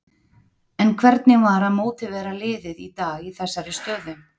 En hvernig var að mótivera liðið í dag í þessari stöðu?